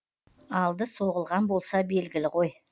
алды соғылған болса белгілі ғой